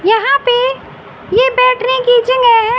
यहां पे ये बैठने की जगह--